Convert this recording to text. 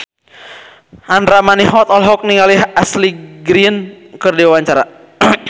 Andra Manihot olohok ningali Ashley Greene keur diwawancara